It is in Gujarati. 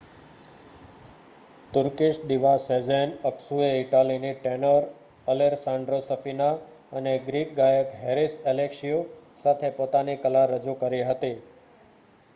તુર્કીશ દીવા સેઝેન અક્સુએ ઇટાલીની ટેનોર અલેસ્સાન્ડ્રો સફીના અને ગ્રીક ગાયક હેરીસ એલેક્ષીયુ સાથે પોતાની કલા રજૂ કરી હતી